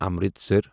Amritsar